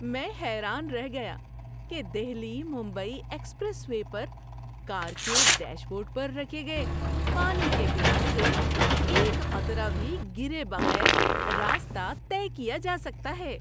میں حیران رہ گیا کہ دہلی ممبئی ایکسپریس وے پر کار کے ڈیش بورڈ پر رکھے گئے پانی کے گلاس سے ایک قطرہ بھی گرے بغیر راستہ طے کیا جا سکتا ہے۔